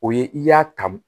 O ye i y'a ta